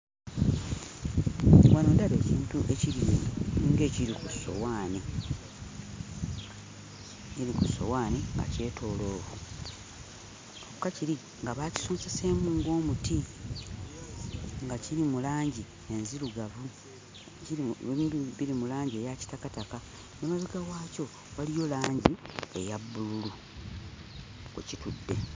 Wano ndaba ekintu ekiri ng'ekiri ku ssowaani, ekiri ku ssowaani nga kyetooloovu, kyokka kiri nga baakisonseseemu ng'omuti nga kiri mu langi enzirugavu. Kiri biri mu langi eya kitakataka. Emabega waakyo waliyo langi eya bbululu kwe kitudde.